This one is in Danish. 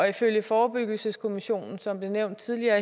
ifølge forebyggelseskommissionen som blev nævnt tidligere